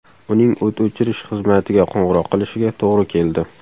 Uning o‘t o‘chirish xizmatiga qo‘ng‘iroq qilishiga to‘g‘ri keldi.